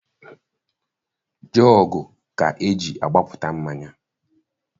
Jọọgụ ka eji agbapụta mmanya.